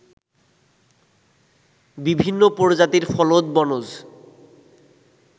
বিভিন্ন প্রজাতির ফলদ, বনজ